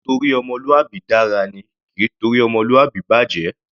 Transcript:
Ó ńtorí ọmọlúwàbí dára ni; kì í torí ọmọlúwàbí bàjẹ̀.